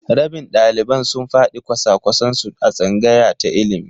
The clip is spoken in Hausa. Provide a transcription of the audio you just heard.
Rabin ɗaliban sun faɗi kwasa-kwasan su a tsangaya ta ilimi.